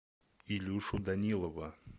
илюшу данилова